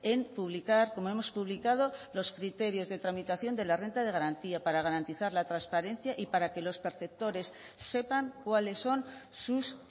en publicar como hemos publicado los criterios de tramitación de la renta de garantía para garantizar la transparencia y para que los perceptores sepan cuáles son sus